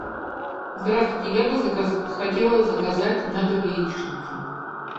здравствуйте я бы хотела заказать на дом яичницу